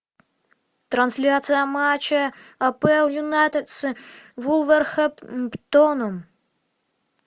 трансляция матча апл юнайтедс вулверхэмптоном